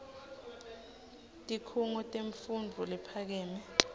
tikhungo temfundvo lephakeme